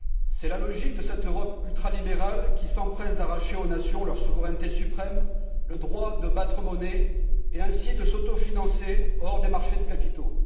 C'est la logique de cette Europe ultralibérale qui s'empresse d'arracher aux nations leur souveraineté suprême, le droit de battre monnaie et ainsi de s'autofinancer hors des marchés de capitaux.